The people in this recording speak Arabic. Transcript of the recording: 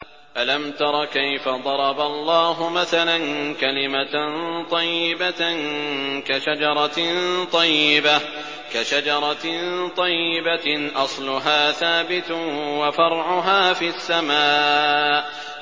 أَلَمْ تَرَ كَيْفَ ضَرَبَ اللَّهُ مَثَلًا كَلِمَةً طَيِّبَةً كَشَجَرَةٍ طَيِّبَةٍ أَصْلُهَا ثَابِتٌ وَفَرْعُهَا فِي السَّمَاءِ